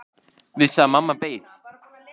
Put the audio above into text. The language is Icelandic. Vissi að mamma beið.